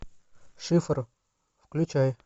шифр включай